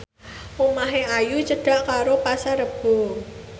omahe Ayu cedhak karo Pasar Rebo